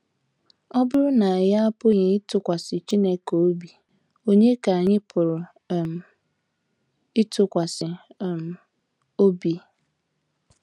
Ọ bụrụ na anyị apụghị ịtụkwasị Chineke obi, ònye ka anyị pụrụ um ịtụkwasị um obi?